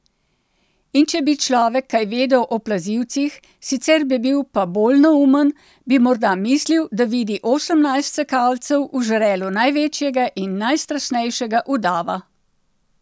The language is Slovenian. In če bi človek kaj vedel o plazilcih, sicer bi bil pa bolj neumen, bi morda mislil, da vidi osemnajst sekalcev v žrelu največjega in najstrašnejšega udava.